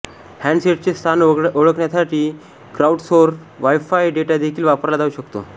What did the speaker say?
हँडसेटचे स्थान ओळखण्यासाठी crowdsourced wifi data देखील वापरला जाऊ शकतो